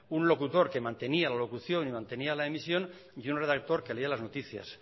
un locutor que mantenía la locución y que mantenía la emisión y un redactor que leía las noticias